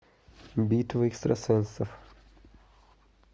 битва экстрасенсов